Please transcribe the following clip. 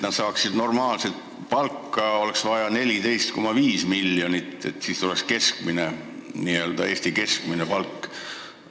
Päästjatele oleks vaja 14,5 miljonit, et nad saaksid normaalset palka – siis oleks neil Eesti keskmine palk.